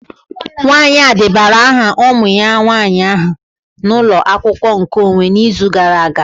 Nwanyị a debara aha ụmụ ya nwanyị aha na ụlọ akwụkwọ nkeonwe n'izu gara aga